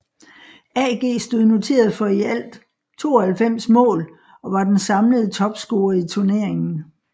AG stod noteret for i alt 92 mål og var den samlede topscorer i turneringen